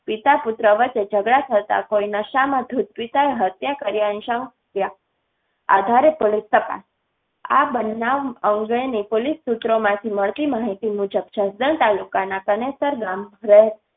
પિતા પુત્ર વચ્ચે ઝઘડા થતા કોઈ નશા માં ધૂત પિતાએ હત્યા કર્યા ની શંકા. આધારે પોલીસે આ બનાવ અંગે ની પોલીસ સુત્રો માંથી મળતી માહિતી મુજબ જસદણ તાલુકાના કનેસરા ગામ રહેતા